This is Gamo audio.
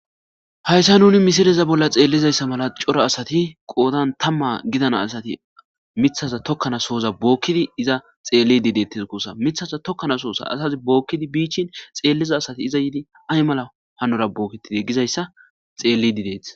hayssa nuni misileza bolla xeellizayssa mala cora asati qoodan tamma gidana asati mithaza tokkanasooza bookkidi iza xeellide detteees gussa mithaza tokkanasohoza asazi bookkidi bi ichchin xeelliza asati iza yiidi ay mala hanora bookketidee gizayssa xeellidi dettees